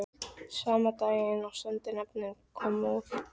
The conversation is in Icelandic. Sama daginn og sendinefndin kom úr